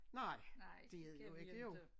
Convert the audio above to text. Nej det er det jo ikke jo